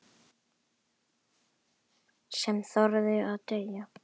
Sem þorði að deyja!